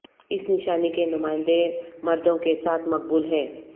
اس نشانی کے نمائندے مردوں کے ساتھ مقبول ہیں